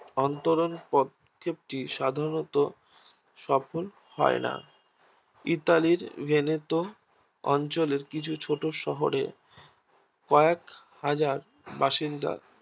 অন্তরণ পদক্ষেপ টি সাধারণত সফল হয়না ইতালির বেইনেতো অঞ্চলের কিছু ছোট শহরে কেও হাজার বাসিন্দা